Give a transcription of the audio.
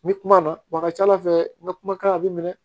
N bɛ kuma na wa a ka ca ala fɛ n ka kumakan bɛ minɛ